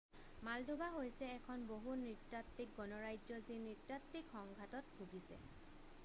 Moldova হৈছে এখন বহু-নৃতাত্বিক গণৰাজ্য যি নৃতাত্বিক সংঘাতত ভুগিছে